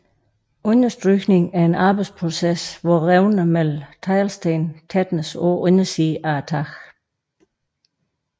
Understrygning er en arbejdsproces hvor revnerne mellem teglsten tætnes på undersiden af taget